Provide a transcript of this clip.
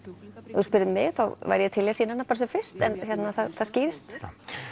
ef þú spyrð mig þá væri ég til í að sýna hana bara sem fyrst en það skýrist